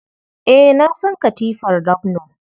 Eh, na san katifar ramno.